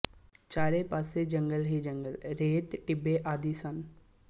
ਚਾਰੇ ਪਾਸੇ ਜੰਗਲ ਹੀ ਜੰਗਲ ਰੇਤ ਟਿੱਬੇ ਆਦਿ ਸਨ